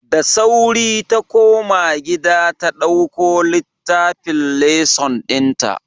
Da sauri ta koma gida ta dauko littafin lesson dinta.